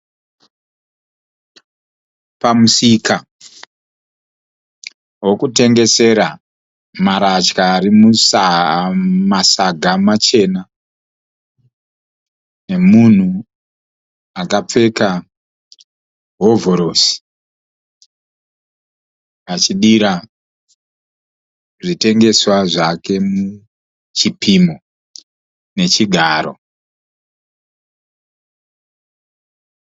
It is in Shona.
Pamusika wokutengesera marasha ari mumasaga machena nemunhu akapfeka hovhorosi achidira zvitengeswa zvake muchipimo nechigaro.